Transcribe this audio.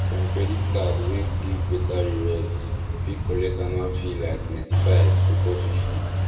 some credit card wey give better rewards fit collect annual fee like ninety-five to four hundred and fifty